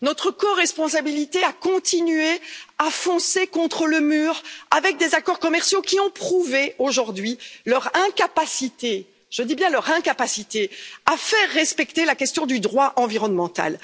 Notre coresponsabilité si nous continuons à aller droit dans le mur avec des accords commerciaux qui ont prouvé aujourd'hui leur incapacité, je dis bien leur incapacité, à faire respecter la question du droit environnemental.